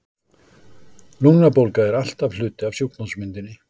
Lungnabólga er alltaf hluti af sjúkdómsmyndinni.